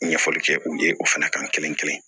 Ɲɛfɔli kɛ u ye o fana kan kelen kelen